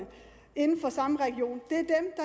inden for samme region